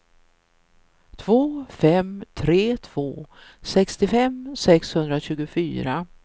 två fem tre två sextiofem sexhundratjugofyra